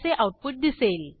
असे आऊटपुट दिसेल